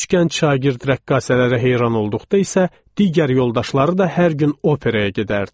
Üç gənc şagird rəqqasələrə heyran olduqda isə digər yoldaşları da hər gün operaya gedərdi.